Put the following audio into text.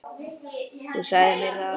Þú sagðir mér það.